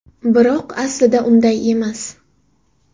Biroq aslida unday emas.